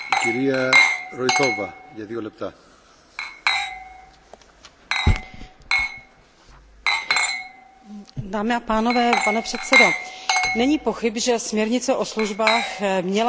Pane předsedající, není pochyb, že směrnice o službách měla být klíčová pro otevření cesty k rozvoji služeb v členských státech, zejména pak pro přeshraniční využívání mnohem většího spektra možností